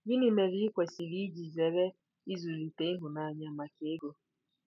Gịnị mere i kwesịrị iji zere ịzụlite ịhụnanya maka ego?